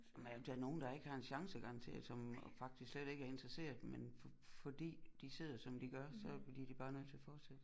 Men er der er nogen der ikke har en chance garanteret som faktisk slet ikke er interesseret men fordi de sidder som de gør så bliver de bare nødt til at fortsætte